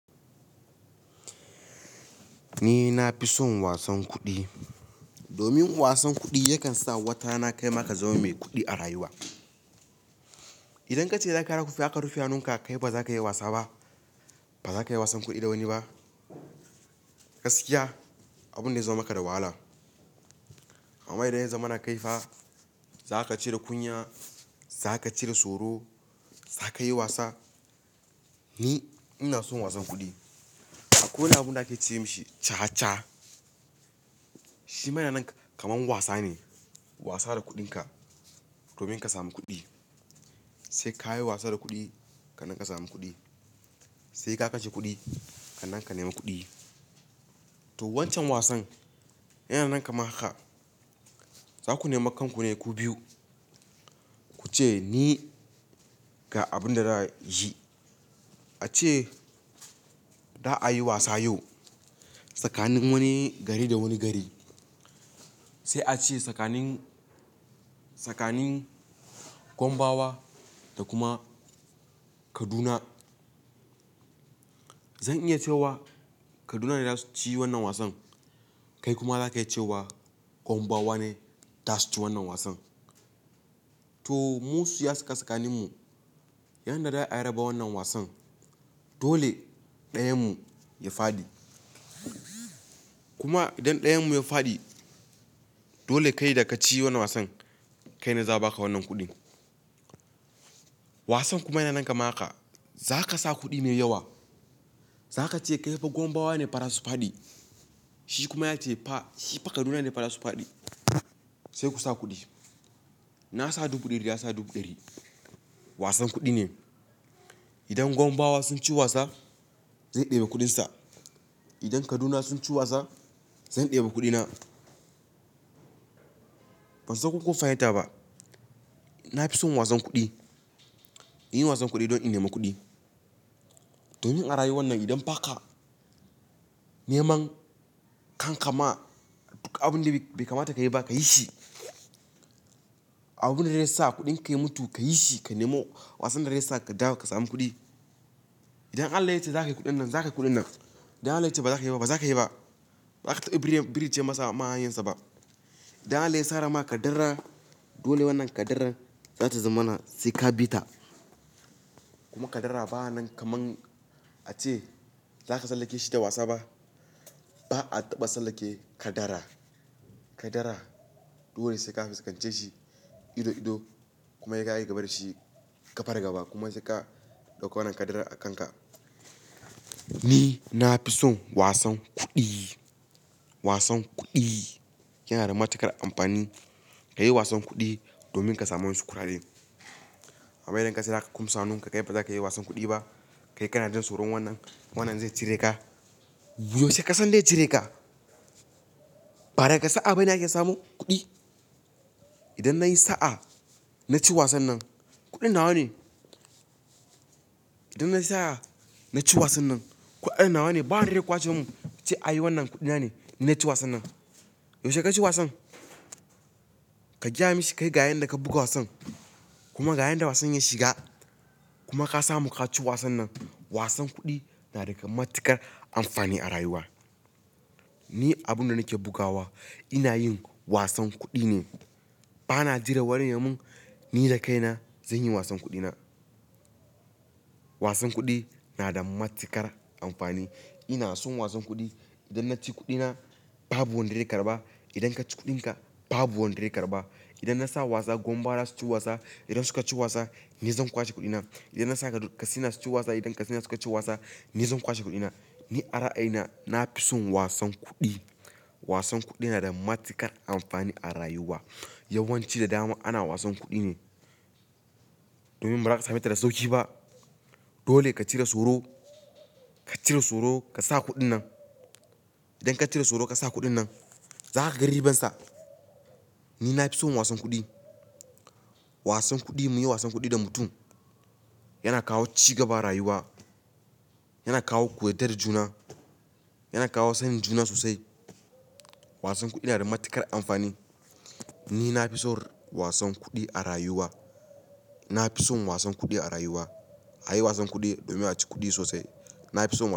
Ni na fi son wasan kuɗi, domin wasan kuɗi yakan sa wata rana kaima kazama mai kuɗi a rayuwa. Idan ka ce za ka rufe hannunka, kai baza ka yi wasa ba. Baza ka iya wasan kuɗi da wani ba. Gaskiya, abun da ya zama maka da wahala. Amma idan ya zama na kaifa, za ka cire kunya, za ka cire tsoro, za ka yi wasa. Ni ina son wasan kuɗi. Akwai wani abun da ake ce masa caca. Shi ma yana kaman wasa ne, wasa da kuɗinka domin ka samu kuɗi. Sai ka yi wasa da kuɗi ka nan ka samu kuɗi. Sai ka kashe kuɗi ka nan ka nema kuɗi. To, wancan wasan yana nan kaman haka. Za ku nema kanku ne ku biyu. Ku ce ni ga abin da za a yi. A ce za a yi wasa yau tsakanin wani gari da wani gari. Sai a ce tsakanin, tsakanin Gombawa da kuma Kaduna. Zan iya cewa Kaduna ne za su ci wannan wasan. Kai kuma za ka iya ce wa Gombawa ne za su ci wannan wasan. To, musu ya shiga tsakanin mu yanda za a raba wannan wasan. Dole ɗayanmu ya fadi. Kuma idan ɗayanmu ya fadi, dole kai da ka ci wannan wasan, kai na za a ba ka wannan kuɗin. Wasan kuma yana kama haka. Za ka sa kuɗi ne yawa. Za ka ce kai fa Gombawa ne fa ra su faɗi. Shi kuma ya ce fa shi fa Kaduna ne fara su faɗi. Sai ku sa kuɗi. Na sa dubu ɗari ya sa dubu ɗari. Wasan kuɗi ne. Idan Gombawa sun ci wasa, zai ɗebe kuɗinsa. Idan Kaduna sun ci wasa, zan ɗebe kuɗina. Ban san ko kun fahimta ba. Na fi son wasan kuɗi. In yi wasan kuɗi don in nema kuɗi. Domin a rayuwar nan idan ba ka neman kanka ma duk abin da bai kamata ka yi ba ka yi shi, abin da zai sa kuɗin ka ya mutu ka yi shi ka nemo. Wasan da zai sa ka dawo ka samu kuɗi. Idan Allah ya ce za ka yi kuɗin nan, za ka yi kuɗin nan. Idan Allah ya ce baza ka yi ba, baza ka yi ba. Ba za ka taɓa ɓirice masa ma hanyarsa ba. Idan Allah ya tsara ma ƙaddara, dole wannan ƙaddaran za ta zama na sai ka bi ta. Kuma ƙaddara ba nan kamar a ce za ka tsallake shi da wasa ba. Ba a taɓa tsallake ƙaddara. Ƙaddara dole sai ka fuskance shi ido ido kuma sai ka yi gaba da shi gaba da gaba kuma sai ka ɗauko wannan ƙaddara a kanka. Ni na fi son wasan kuɗi. Wasan kuɗi yana da matuƙar amfani. Ka yi wasan kuɗi domin ka samu wasu kuɗaɗe. Amma idan ka ce za ka kumsa hannun ka kai baza ka yi wasan kuɗi ba, kai kana jin tsoron wannan, wannan zai cire ka. Yaushe ka san zai cire ka? Ba daga sa'a bane ake samo kuɗi. Idan na yi sa'a, na ci wasan nan, kuɗin nawa ne? Idan na yi sa'a, na ci wasan nan, kuɗin nawa ne? Ba wanda zai kwace mun ya ce ai wannan kuɗi na ne, ni naci wasan nan. Yaushe ka ci wasan? Ka gaya mushi kai ga ƴanda ka buga wasan? Kuma ga ƴanda wasan ya shiga kuma ka samu ka ci wasan nan. Wasan kuɗi na da matuƙar amfani a rayuwa. Ni abun da nake bugawa ina yin wasan kuɗi ne. Ba na jira wani ya mun, ni da kaina zan yi wasan kuɗina. Wasan kuɗi na da matuƙar amfani. Ina son wasan kuɗi. Idan na ci kuɗina babu wanda zai karɓa. Idan ka ci kuɗinka babu wanda zai karɓa. Idan na sa wasa Gombawa za su ci wasa, idan su ka ci wasa, ni zan kwashe kuɗina. Idan na sa Katsina su ci wasa, idan Katsina suka ci wasa, ni zan kwashe kuɗina. Ni a ra'ayina, na fi son wasan kuɗi. Wasan kuɗi yana da matuƙar amfani a rayuwa. Yawan ci da dama ana wasan kuɗi ne. Domin ba za ka same ta da sauƙi ba. Dole ka cire tsoro, ka cire tsoro ka sa kuɗin nan. Idan ka cire tsoro ka sa kuɗin nan, za ka ga ribansa. Ni na fi son wasan kuɗi. Wasan kuɗi, muyi wasan kuɗi da mutum yana kawo cigaba a rayuwa, yana kawo kuyarda da juna, yana kawo sanin juna sosai. Wasan kuɗi yana da matuƙar amfani. Ni na fi son wasan kuɗi a rayuwa. Na fi son wasan kuɗi a rayuwa. A yi wasan kuɗi domin a ci kuɗi sosai. Na fi son.